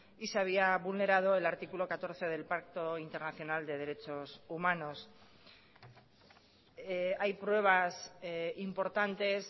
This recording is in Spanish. y se había vulnerado el artículo catorce del pacto internacional de derechos humanos hay pruebas importantes